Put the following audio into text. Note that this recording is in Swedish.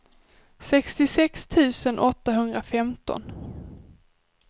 sextiosex tusen åttahundrafemton